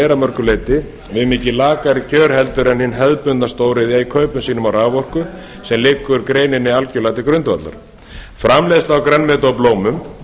er að mörgu leyti við mikið lakari kjör heldur en hin hefðbundna stóriðja í kaupum sínum á raforku sem liggur greininni algerlega til grundvallar framleiðsla á grænmeti og blómum